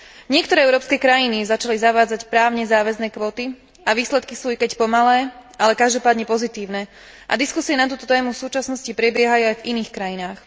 Niektoré európske krajiny začali zavádzať právne záväzné kvóty a výsledky sú, i keď pomalé, ale každopádne pozitívne, a diskusie na túto tému v súčasnosti prebiehajú aj v iných krajinách.